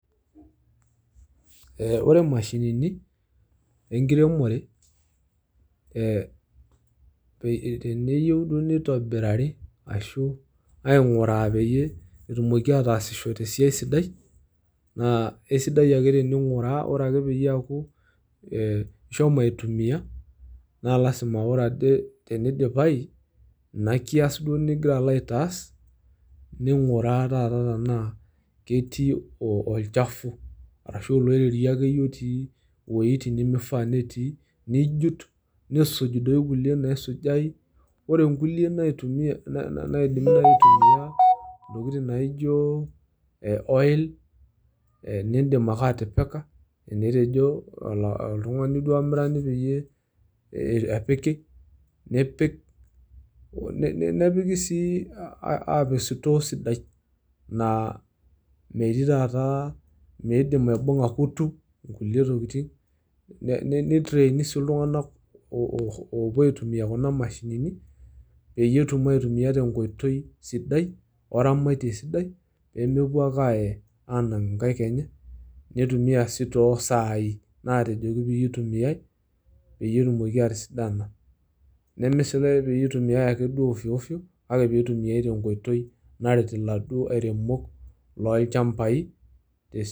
Eh ore imashinini, enkiremore, eh teneyieu duo nitobirari ashu aing'uraa peyie etumoki ataasisho tesiai sidai, naa esidai ake tening'uraa, ore ake peyie eaku ishomo aitumia, na lasima ore ade tenidipayu ina kias duo nigira alo aitaas, ning'uraa taata tenaa ketii olchafu, arashu oloirerio akeyie otii iweiting' nimifaa netii. Nijut, nisuj doi kulie naisujayu, ore nkulie naitumia naidimi nai aitumia intokiting' naijo oil ,nidim ake atipika, tenetejo oltung'ani duo olamirani peyie epiki, nipik. Nepiki si apik sitoo sidai. Naa metii taata meidim aibung'a kutu, kulie tokiting',nitreini si iltung'anak opuo aitumia kuna mashinini, peyie etum aitumia tenkoitoi sidai oramatie sidai, pemepuo ake aaye anang' inkaik enye, neitumia si tosai natejoki pitumiai, peyie etumoki atisidana. Neme si peitumiai ake duo ofioofio, kake pitumiai tenkoitoi, naret iladuo airemok lochambai.